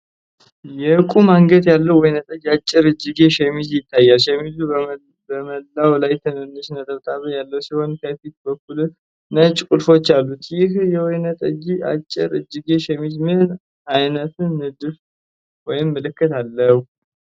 የቁም አንገት ያለው ወይንጠጅ አጭር እጅጌ ሸሚዝ ይታያል። ሸሚዙ በመላው ላይ ትንንሽ ነጠብጣብ ያለው ሲሆን፣ ከፊት በኩል ነጭ ቁልፎች አሉት። ይህ የወይንጠጅ አጭር እጅጌ ሸሚዝ ምን ዓይነት ንድፍ ወይም ምልክት አለው?